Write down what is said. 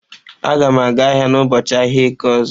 Agam aga ahia n'ubọọchi ahia eke ozo.